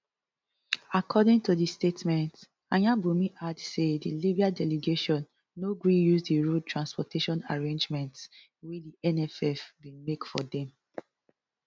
according to di statement ayanbunmi add say di libyan delegation no gree use di road transportation arrangements wey di nff bin make for dem